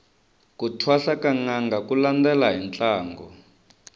ku thwasa ka nanga ku landela hi ntlangu